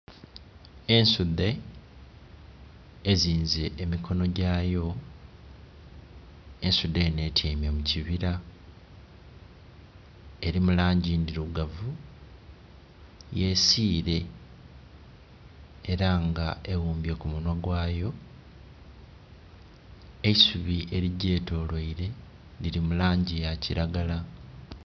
Ensudhe ezinze emikono gyayo. Ensudhe enho etyaime mu kibira. Eri mu langi ndirugavu. Yesiile, era nga eghumbye ku munhwa gwayo. Eisubi erigyetoloile liri mu langi ya kiragala.